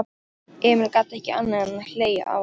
Emil gat ekki annað en hlegið að honum.